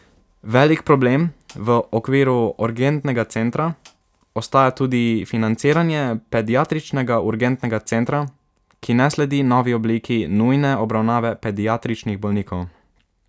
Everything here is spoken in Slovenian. Velik problem v okviru urgentnega centra ostaja tudi financiranje Pediatričnega urgentnega centra, ki ne sledi novi obliki nujne obravnave pediatričnih bolnikov.